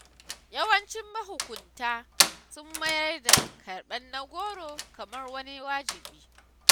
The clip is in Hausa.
Yawancin mahukunta sun mayar da karɓar na-goro kamar wani wajibi.